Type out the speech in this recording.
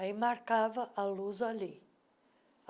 Aí marcava a luz ali.